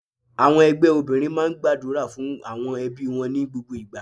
Àwọn ẹgbẹ́ obìnrin máa ń gbàdúrà fún àwọn ẹbí wọn ní gbogbo ìgbà.